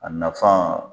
A nafan